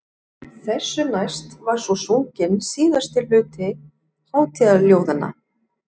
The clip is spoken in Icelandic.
Þessu næst var svo sunginn síðasti hluti hátíðaljóðanna.